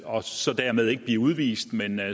og så dermed ikke blive udvist men at